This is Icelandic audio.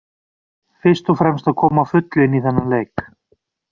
Fyrst og fremst að koma á fullu inn í þennan leik.